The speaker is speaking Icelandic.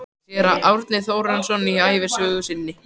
Séra Árni Þórarinsson í ævisögu sinni